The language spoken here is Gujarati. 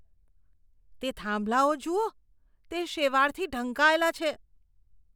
તે થાંભલાઓ જુઓ. તે શેવાળથી ઢંકાયેલાં છે.